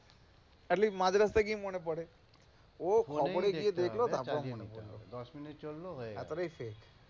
at least মাঝ রাস্তায় গিয়ে মনে পড়ে ও তারপরে গিয়ে দেখলো তার পরে মনে পড়ে দশ minute চলল হয়ে গেল তার পরে শেষ,